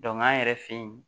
an yɛrɛ fɛ yen